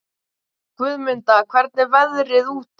Guðmunda, hvernig er veðrið úti?